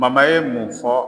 ye mun fɔ